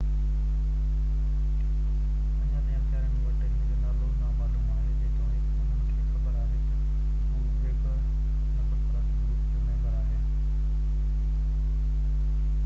اڃا تائين اختيارين وٽ هن جو نالو نامعلوم آهي جيتوڻيڪ انهن کي خبر آهي ته هو ويگور نسل پرست گروپ جو ميمبر آهي